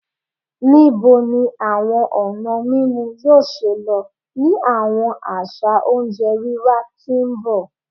Nibo ni awọn ọna mimu yoo ṣee lo ni awọn aṣa onjẹ wiwa ti n bọ?